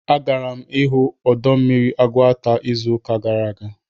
Agara m ịhụ ọdọ mmiri Ugwuta izụka gara aga